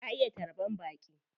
Ta iya tarban baƙi.